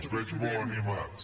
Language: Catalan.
els veig molt animats